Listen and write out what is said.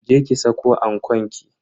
Je ki saka ankon ki.